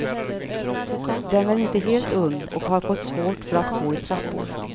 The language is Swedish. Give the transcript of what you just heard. Den är inte helt ung och har fått svårt för att gå i trappor.